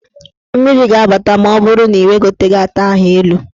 Mmiri ga-abata ma ọ bụrụ na ị wegoteghi ata ahụ elu.